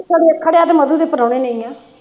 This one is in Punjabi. ਖਰਿਆਂ ਖਰਿਆਂ ਤੇ ਮਧੂ ਦੇ ਪਰੌਣੇ ਨੇ ਹੀ ਆ